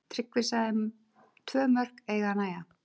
Tryggvi sagði tvö mörk eiga að nægja.